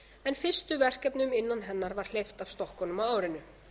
en fyrstu verkefnum innan hennar var hleypt af stokkunum á árinu